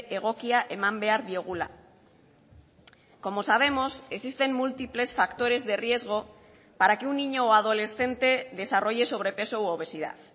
egokia eman behar diogula como sabemos existen múltiples factores de riesgo para que un niño o adolescente desarrolle sobrepeso u obesidad